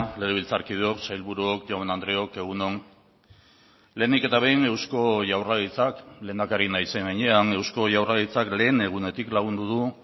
legebiltzarkideok sailburuok jaun andreok egun on lehenik eta behin eusko jaurlaritzak lehendakari naizen heinean eusko jaurlaritzak lehen egunetik lagundu du